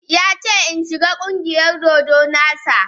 Ya ce in shiga ƙungiyar dodo na sa.